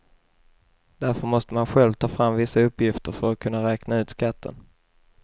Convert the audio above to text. Därför måste man själv ta fram vissa uppgifter för att kunna räkna ut skatten.